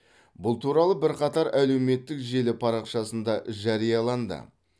бұл туралы бірқатар әлеуметтік желі парақшасында жарияланды